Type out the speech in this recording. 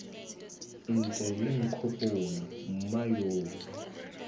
ntse lo nkgopola mma yo